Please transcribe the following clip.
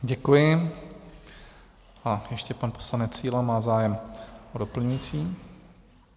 Děkuji, a ještě pan poslanec Síla má zájem o doplňující...